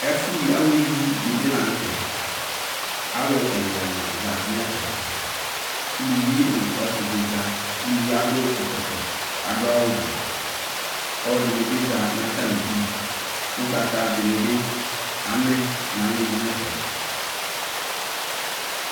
Ɛfʋ ye awɔɛ yii ɖini la nʋ tɛ Aalʋ ɛlʋɛlʋ za nʋ ɛfɛʋluvi nʋ ɔsiɖi zaʋluvie aɖʋ ɛkɔtɔ k'aɖʋ awʋ vɛAaluɛɖini za n'atamiɖʋƲgbataɖinibi amɛ n'alɔnʋ n'fɛ